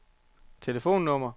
telefonnummer